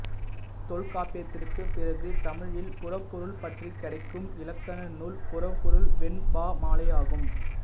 தொல்காப்பியத்திற்கு பிறகு தமிழில் புறப்பொருள் பற்றி கிடைக்கும் இலக்கண நூல் புறப்பொருள் வெண்பாமாலையாகும்